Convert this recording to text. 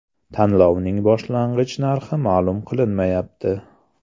Tanlovning boshlang‘ich narxi ma’lum qilinmayapti.